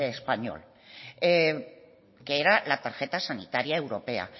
español que era la tarjeta sanitaria europea